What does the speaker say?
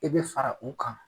I bɛ fara u kan.